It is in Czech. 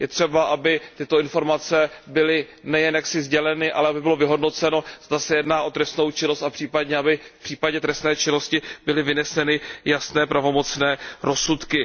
Je třeba, aby tyto informace byly nejen jaksi sděleny, ale aby bylo vyhodnoceno, zda se jedná o trestnou činnost a případně, aby v případě trestné činnosti byly vyneseny jasné pravomocné rozsudky.